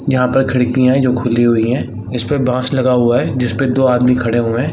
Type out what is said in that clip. यहां पर खिड़की है जो खुली हुई है इस पर बास लगा हुआ है जिस पे दो आदमी खड़े हुए हैं।